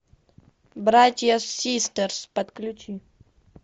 братья систерс подключи